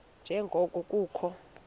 nje ngoko kukho